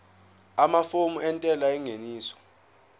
amafomu entela yengeniso